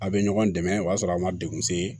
A bɛ ɲɔgɔn dɛmɛ o y'a sɔrɔ a ma degun se